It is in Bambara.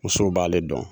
Musow b'ale dɔn